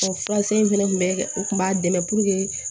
Ɔ furasen in fɛnɛ tun bɛ o kun b'a dɛmɛ